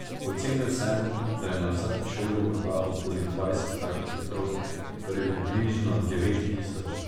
Ocenil sem, da je na vsaki šoli morda okoli dvajset takih otrok, torej približno devet tisoč.